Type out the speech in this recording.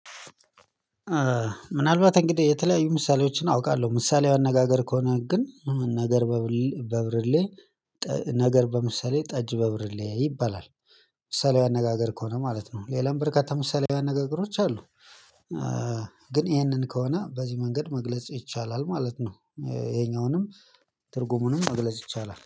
ምናልባት እንግዲህ የተለያዩ ምሳሌዎችን አውቃለሁ ምሳሌው አነጋገር ከሆነ ግን ነገር ነገር በምሳሌ ጠጅ በብርሌ ይባላል። ምሳሌው አነጋገር ከሆነ ማለት ነው። ሌላም ብርካታ ምሳሌያዊ ነገር ቅርሶች አሉ። ግን ይሄንን ከሆነ በዚህ መንገድ መግለጽ ይቻላል ማለት ነው። ይሄኛውንም ትርጉሙንም መግለጽ ይቻላል